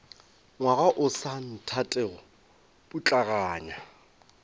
ngwaga o sa nthatego putlaganya